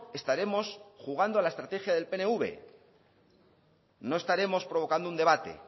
estaremos jugando a la estrategia del pnv no estaremos provocando un debate